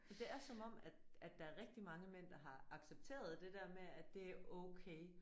Men det er som om at at der er rigtig mange mænd der har accepteret det der med at det er okay